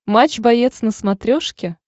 матч боец на смотрешке